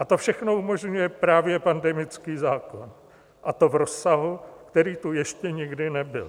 A to všechno umožňuje právě pandemický zákon, a to v rozsahu, který tu ještě nikdy nebyl.